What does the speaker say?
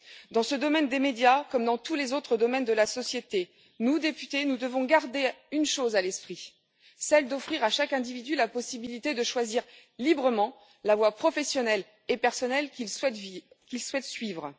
Dans ce domaine des médias, comme dans tous les autres domaines de la société, nous, députés, devons garder une chose à l'esprit celle d'offrir à chaque individu la possibilité de choisir librement la voie professionnelle et personnelle qu'il souhaite suivre.